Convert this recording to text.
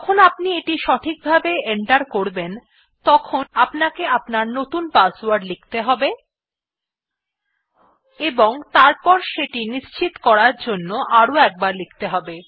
যখন আপনি এটি সঠিকভাবে এন্টার করবেন তখন আপনাকে আপনার নতুন পাসওয়ার্ড লিখতে হবে এবং তারপর সেটি নিশ্চিত করার জন্য আরো একবার লিখতে হবে